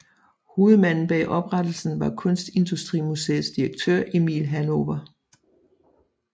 Hovedmanden bag oprettelsen var Kunstindustrimuseets direktør Emil Hannover